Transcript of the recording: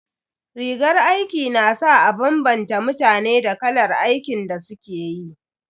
Rigar aiki na sa a bambanta mutane da kalar aikin da suke yi.